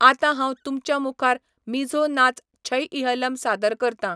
आतां हांव तुमच्या मुखार मिझो नाच छैइहलम सादर करतां.